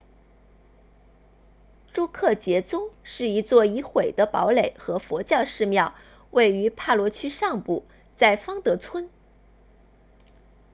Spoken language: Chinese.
朱克杰宗 drukgyal dzong 是一座已毁的堡垒和佛教寺庙位于帕罗区上部在方德村